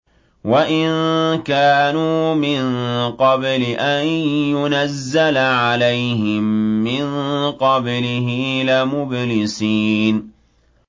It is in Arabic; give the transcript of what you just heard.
وَإِن كَانُوا مِن قَبْلِ أَن يُنَزَّلَ عَلَيْهِم مِّن قَبْلِهِ لَمُبْلِسِينَ